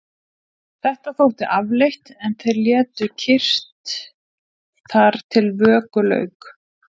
Þetta þótti afleitt en þeir létu kyrrt þar til vöku lauk.